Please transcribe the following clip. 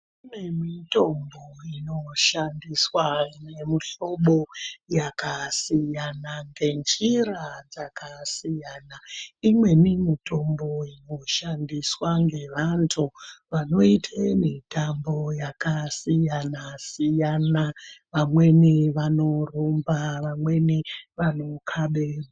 Kune mitombo inoshandiswa ine mihlobo yakasiyana ngenjira dzakasiyana imweni mitombo yoshandiswa nevanhu vanoita mitambo yakasiyana-siyana vamweni vanorumba vamweni vanokaba bhora.